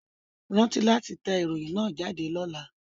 Rántí láti tẹ ìròyìn náà jáde lọ́la